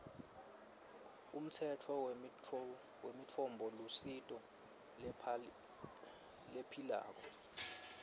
umtsetfo wemitfombolusito lephilako